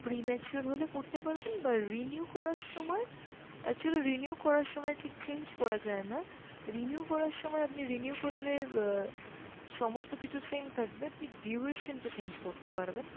pre mature হলে করতে পারবেন বা renew করার সময়, actually renew করার সময় ঠিক change করা যায় না, renew করার সময় আপনি renew করলে অ্যাঁ সমস্ত কিছু same থাকবে, আপনি duration টা change করতে পারবেন।